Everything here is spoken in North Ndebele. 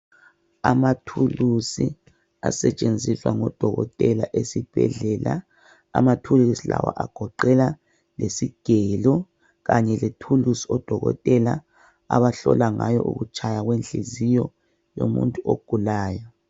Amathulusi asetshenziswa ngodokotela esibhedlela. Amathulusi lawa agoqela lesigelo, kanye lethulusi odokotela abahlola ngayo ukutshaya kwenhliziyo yomuntu ogulayo.